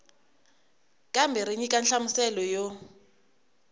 kambe ri nyika nhlamuselo yo